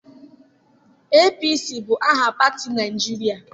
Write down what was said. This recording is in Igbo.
APC bụ aha pati na Naịjirịa.